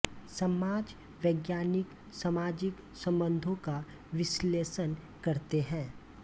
समाज वैज्ञानिक सामाजिक सम्बन्धों का विश्लेषण करते हैं